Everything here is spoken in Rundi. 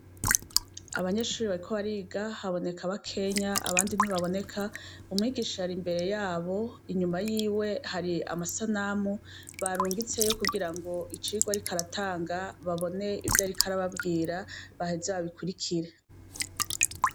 Abanyeshure bariko bariga haboneka bakeya abandi ntibaboneka umwigisha ar'imbere yabo. Inyuma yiwe hari amasanamu barungitseyo kugirango icigwa ariko aratanga babone ivyo ariko arababwira hama baheze babikurikire.